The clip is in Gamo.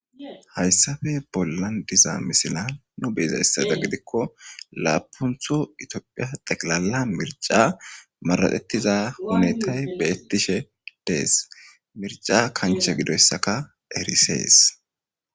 Hayissape bollani diza misiza beyiko lapunitho xeqilala miricca araxetida betishe dessi iza kaniche gidoyisaka besesi